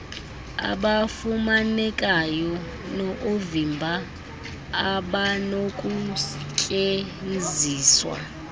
abafumanekayo noovimba abanokustyenziswa